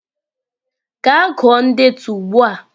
Gaa gụọ ndetu ugbu a!